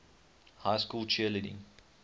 high school cheerleading